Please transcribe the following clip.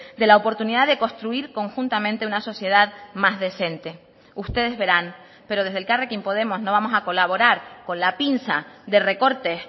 de la oportunidad de construir conjuntamente una sociedad más decente ustedes verán pero desde elkarrekin podemos no vamos a colaborar con la pinza de recortes